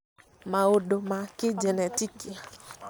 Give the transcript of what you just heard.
maũndũ ma kĩnjenetiki